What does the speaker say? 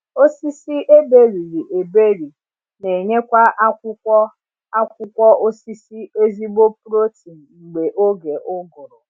Osisi eberiri eberi n’enyekwa akwụkwọ akwụkwọ osisi ezigbo protein mgbe oge ụgụrụ